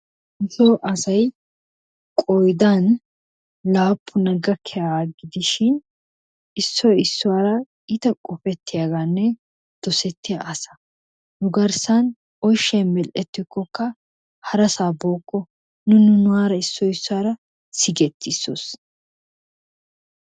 Nu soo asay qoyidan laappuna gakkiyaga gidishin issoy issuwaara iita qopetiyaagaanne dosettiya asa. Nu garssan ooshshay mel'ettikkokka harasaa booko. Nu nunaara issoy issuwaara sigetisos.